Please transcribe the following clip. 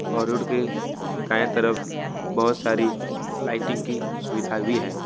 और रोड के दाएं तरफ बहुत सारी लाइटिंग की सुविधा भी है।